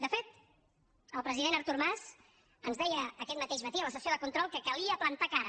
de fet el president artur mas ens deia aquest mateix matí a la sessió de control que calia plantar cara